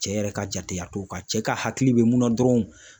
Cɛ yɛrɛ ka jateya t'o kan cɛ ka hakili be mun na dɔrɔn